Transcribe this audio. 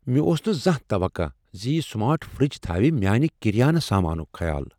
مےٚ اوس نہٕ زانٛہہ توقع زِ یہِ سمارٹ فِر٘ج تھاوِ میانہِ كریانہٕ سامانٗك خیال ۔